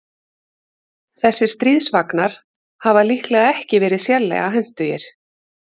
Þessir stríðsvagnar hafa líklega ekki verið sérlega hentugir.